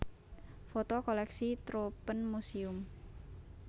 Foto koleksi Troopenmuséum